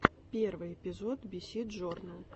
первый эпизод биси джорнл